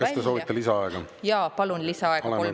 Kas te soovite lisaaega?